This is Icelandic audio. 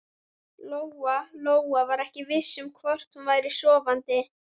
Lóa-Lóa var ekki viss um hvort hún væri sofandi.